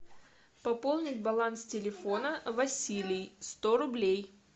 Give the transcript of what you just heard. пополнить баланс телефона василий сто рублей